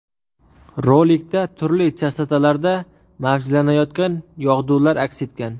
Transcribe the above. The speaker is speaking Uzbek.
Rolikda turli chastotalarda mavjlanayotgan yog‘dular aks etgan.